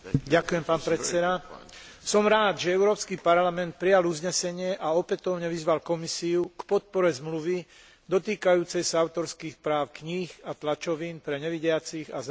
Som rád, že Európsky parlament prijal uznesenie a opätovne vyzval Komisiu k podpore zmluvy dotýkajúcej sa autorských práv kníh a tlačovín pre nevidiacich a zrakovo postihnuté osoby.